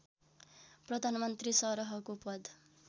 प्रधानमन्त्री सरहको पद